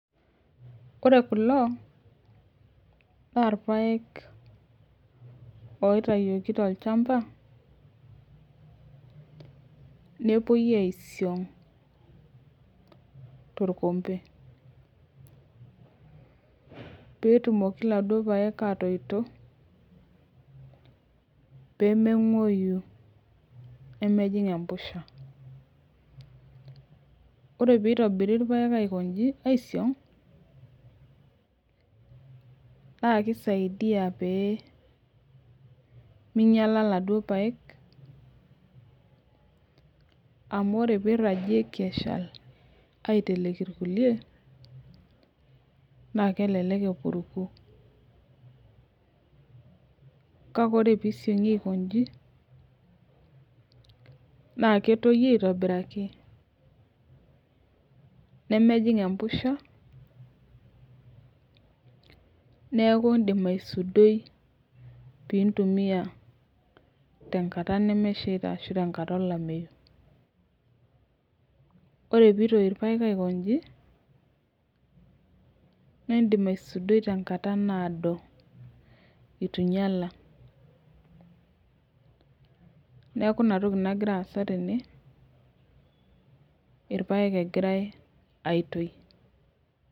Ore kulo na irpaek oitayioki tolchamba nepuo aisiong torkombeibpetumoki laduo paek etoito pemengueyu nemejing empusha ore pitobiri irpaek aiko nji aisong na kisaidia peyie minyala laduo paek amu teniragieki aiteleki irkulie na kelelek epuku kkae ore pisumgi aiko nji na ketoyu aitobiraki nemejing empusha neaku indim aisudoi pintumia tenkata olameyu ore pintoy irpaek aiko nji na indim aisudoi tenkata naado ituinyala neaku inatoki nagira aasa tene aitoy.